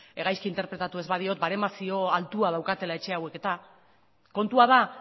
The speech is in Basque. gaizki interpretatu ez badiot baremazio altua daukatela etxe hauek eta kontua da